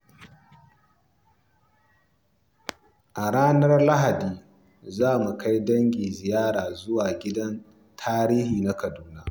A ranar Lahadi, za su kai dangi ziyara zuwa Gidan Tarihi na Kaduna.